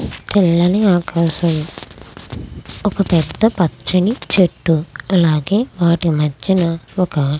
తెల్లని ఆకాశం. ఒక పెద్ద పచ్చని చెట్టు. అలాగే వాటి మధ్యన ఒక --